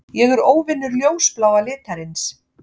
Ég er óvinur ljósbláa litarins.